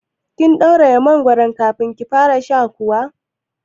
Kin ɗauraye mangoron kafin kika fara sha kuwa?